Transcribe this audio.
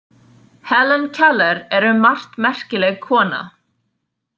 Helen Keller er um margt merkileg kona.